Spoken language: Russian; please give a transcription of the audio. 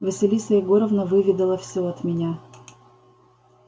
василиса егоровна выведала всё от меня